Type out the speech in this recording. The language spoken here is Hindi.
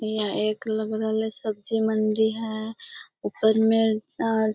यहाँ एक लग रहले सब्जी मंडी हेय। ऊपर में --